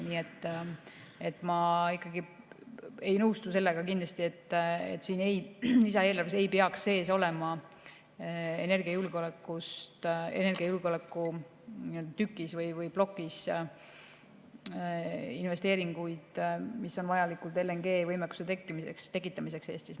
Nii et ma ei nõustu kindlasti sellega, et siin lisaeelarves ei peaks energiajulgeolekuplokis sees olema investeeringuid, mis on vajalikud LNG‑võimekuse tekitamiseks Eestis.